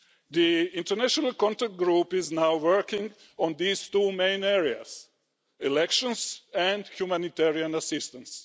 The international contact group is now working on these two main areas elections and humanitarian assistance.